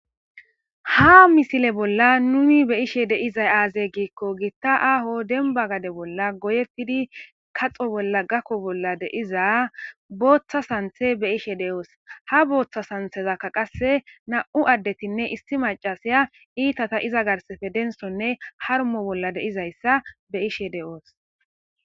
ha misile bolla numi be ishe deizay aazey giikko giitta aaho denba gade bolla goyettidi kaxo bolla gakko bolla deiza booththa santhe be ishe de7oos ha booththa santhezakka qasse na7u addetinne issi macasiya iitata iza garsefe densonne harmo bolla deizayssa be ishe de7oos